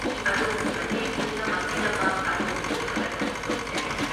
ꯑꯗꯣꯝꯒꯤ ꯃꯇꯦꯡ ꯄꯨꯝꯅꯃꯛꯀꯤꯗꯃꯛ ꯑꯗꯣꯝꯕꯨ ꯊꯥꯒꯠꯄ ꯐꯣꯡꯗꯣꯛꯆꯔꯤ꯫